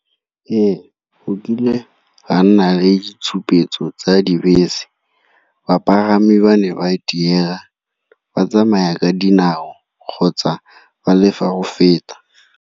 Ee, go kile ga nna le ditshupetso tsa dibese, bapagami ba ne ba diega batsamaya ka dinao kgotsa ba le fa go feta.